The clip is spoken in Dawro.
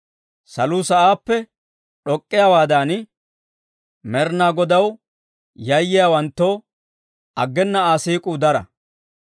Saluu sa'aappe d'ok'k'iyaawaadan, Med'inaa Godaw yayyiyaawanttoo aggena Aa siik'uu dara.